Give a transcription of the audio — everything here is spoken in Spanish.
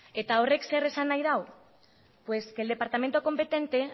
eta horrek zer esan nahi dau pues que el departamento competente